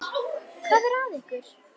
Hvað er að ykkur?